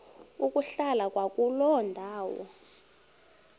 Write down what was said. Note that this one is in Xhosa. ukuhlala kwakuloo ndawo